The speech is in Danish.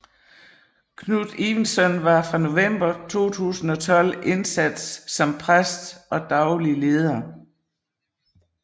Knut Evensen var fra november 2012 indsat som præst og daglig leder